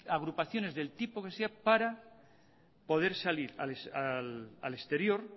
agrupaciones del tipo que sea para poder salir al exterior